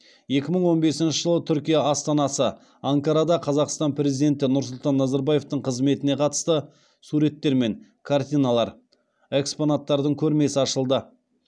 екі мың он бесінші жылы түркия астанасы анкарада қазақстан президенті нұрсұлтан назарбаевтың қызметіне қатысты суреттер мен картиналар экспонаттардың көрмесі ашылды